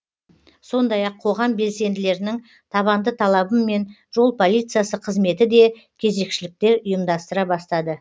сондай ақ қоғам белсенділерінің табанды талабымен жол полициясы қызметі де кезекшіліктер ұйымдастыра бастады